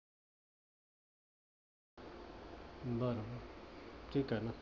बर. ठीक आहे ना.